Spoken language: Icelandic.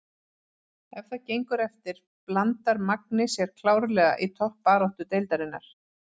Ef það gengur eftir blandar Magni sér klárlega í toppbaráttu deildarinnar!